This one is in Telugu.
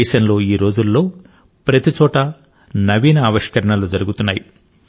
దేశంలో ఈరోజులలో ప్రతిచోటా నూతన ఆవిష్కరణలు జరుగుతున్నాయి